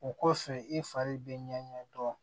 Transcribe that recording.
O kosɔn i fari bɛ ɲɛ dɔn